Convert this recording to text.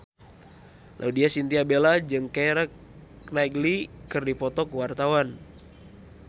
Laudya Chintya Bella jeung Keira Knightley keur dipoto ku wartawan